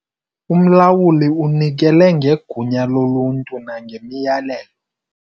Umlawuli unikele ngegunya loluntu nangemiyalelo.